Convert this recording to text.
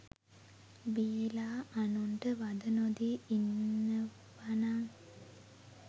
බීලා අනුන්ට වද නොදී ඉන්නවනං